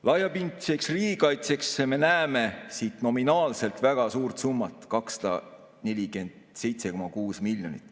Laiapindseks riigikaitseks me näeme nominaalselt väga suurt summat, 247,6 miljonit.